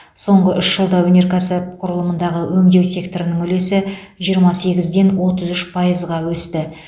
соңғы үш жылда өнеркәсіп құрылымындағы өңдеу секторының үлесі жиырма сегізден отыз үш пайызға өсті